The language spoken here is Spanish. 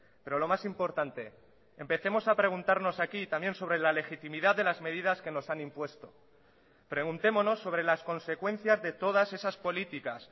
pero lo más importante empecemos a preguntarnos aquí también sobre la legitimidad de las medidas que nos han impuesto preguntémonos sobre las consecuencias de todas esas políticas